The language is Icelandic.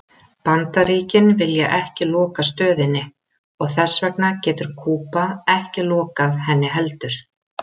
Bandaríkin vilja ekki loka stöðinni og þess vegna getur Kúba ekki lokað henni heldur.